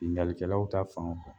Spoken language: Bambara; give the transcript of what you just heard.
Ningalikɛlaw ta fanw.